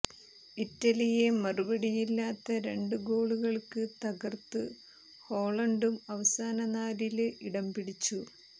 ഇറ്റലിയെ മറുപടിയില്ലാത്ത രണ്ട് ഗോളുകള്ക്ക് തകര്ത്ത് ഹോളണ്ടും അവസാന നാലില് ഇടംപിടിച്ചു